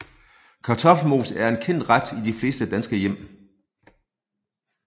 Kartoffelmos er en kendt ret i de fleste danske hjem